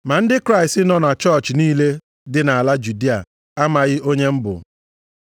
Ma ndị Kraịst nọ na chọọchị niile dị nʼala Judịa amaghị onye m bụ.